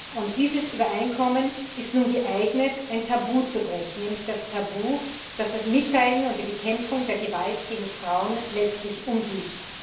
Und dieses Übereinkommen ist nun geeignet, ein Tabu zu brechen, nämlich das Tabu, das das Mitteilen und die Bekämpfung der Gewalt gegen Frauen letztlich umgibt.